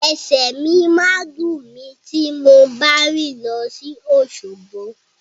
Ẹsẹ̀ mi máa dùn mí ti mo bá rìn lọ sí Òṣogbo.